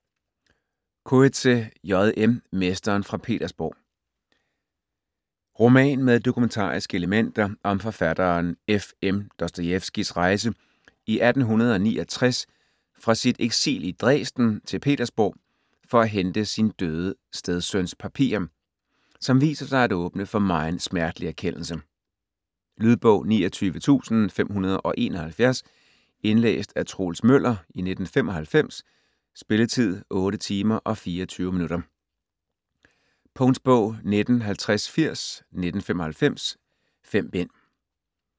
Coetzee, J. M.: Mesteren fra Petersborg Roman med dokumentariske elementer, om forfatteren F.M. Dostojevskijs rejse i 1869 fra sit eksil i Dresden til Petersborg for at hente sin døde stedsøns papirer - som viser sig at åbne for megen smertelig erkendelse. Lydbog 29571 Indlæst af Troels Møller, 1995. Spilletid: 8 timer, 24 minutter. Punktbog 195080 1995. 5 bind.